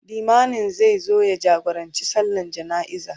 limamin zai zo ya jagorancin sallan jana'iza